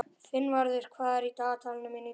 Finnvarður, hvað er á dagatalinu mínu í dag?